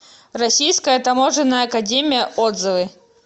российская таможенная академия отзывы